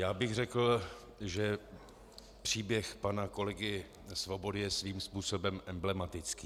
Já bych řekl, že příběh pana kolegy Svobody je svým způsobem emblematický.